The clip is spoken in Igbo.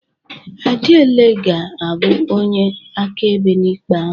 Adiele ga-abụ onye akaebe n'ikpe ahụ.